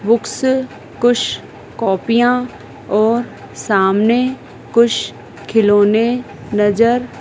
books कुछ कॉपियां और सामने कुछ खिलौने नजर--